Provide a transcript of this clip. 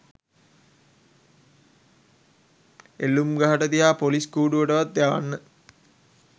එල්ලුම්ගහට තියා පොලිස් කූඩුවටවත් යවන්න.